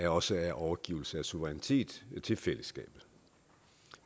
også er overgivelse af suverænitet til fællesskabet